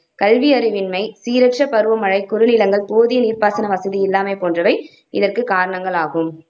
கல்வியறிவின்மை, சீரற்ற பருவமழை, குறுநிலங்கள், போதிய நீர்ப்பாசன வசதி இல்லாமை போன்றவை இதற்கு காரணங்களாகும்